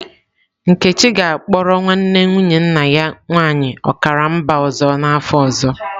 Nkechi ga-akpọrọ nwanne nwunye nna ya nwaanyị ọkara mba ọzọ n'afọ ọzọ.